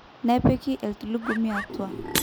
nepiki entulugumi atua